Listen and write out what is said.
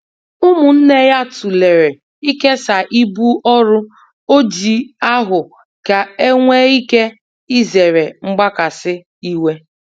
Umunne ya tulere ikesaa ibu ọrụ Ojii ahụ ka enwe ike izere mgbakasị iwe.